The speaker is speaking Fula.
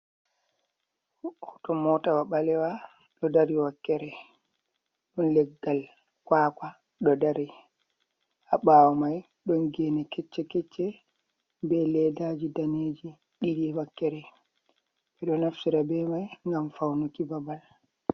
Hoto motawa balewa do dari wakkere don leggal kwakwa do dari habawo mai don geni kecce-kecce be leddaji daneji didi wakkere, bedo naftira be mai gam faunuki babal.